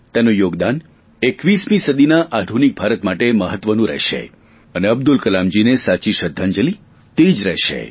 તેનું યોગદાન 21મી સદીના આધુનિક ભારત માટે મહત્વનું રહેશે અને અબ્દુલ કલામજીને સાચી શ્રધ્ધાંજલિ તે જ રહેશે